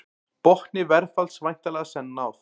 Botni verðfalls væntanlega senn náð